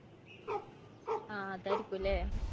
ആ അതായിരിക്കും അല്ലേ?